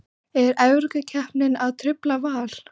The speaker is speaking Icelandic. Er Evrópukeppnin að trufla Val?